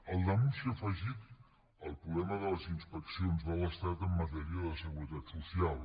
al damunt s’hi ha afegit el problema de les inspeccions de l’estat en matèria de seguretat social